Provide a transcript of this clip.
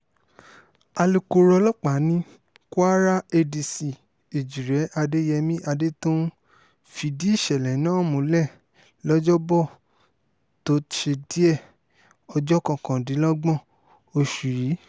alukoro ọlọ́pàá ní kwara adc èjíre adéyẹmi adétọ̀ún fìdí ìṣẹ̀lẹ̀ náà múlẹ̀ lọ́jọ́bọ̀tò tóṣe díẹ̀ ọjọ́ kọkàndínlọ́gbọ̀n oṣù yìí